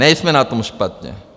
Nejsme na tom špatně.